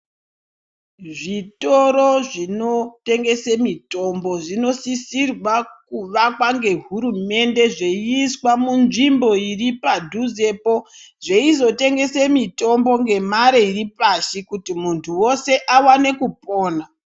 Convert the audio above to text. Zvitoro zvinotengeswa mitombo zvinosisirwa kuwakwa nehurumende inosisa yeiswa munzvimbo iri padhuzepo zveizotengesa mitombo nemazimare Ari pashi kuti muntu weshe akasire kupona.